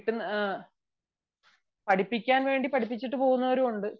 ആഹ് പഠിപ്പിക്കാൻ വേണ്ടി പഠിപ്പിച്ചിട്ട് പോകുന്നവരും ഉണ്ട്